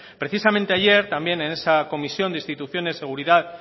precisamente ayer también en esa comisión de instituciones seguridad